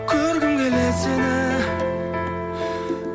көргім келеді сені